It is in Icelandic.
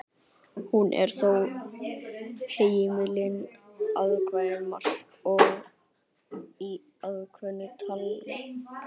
hún er þó heimil innan ákveðinna marka og í ákveðnum tilgangi